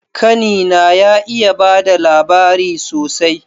Kani na ya iya bada labari sosai